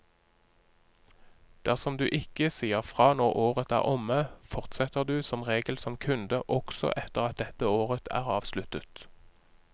Dersom du ikke sier fra når året er omme, fortsetter du som regel som kunde også etter at dette året er avsluttet.